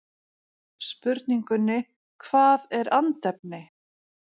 Spurningunni Hvað er andefni?